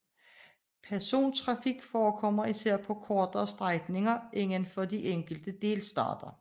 Persontrafik forekommer især på kortere strækninger inden for de enkelte delstater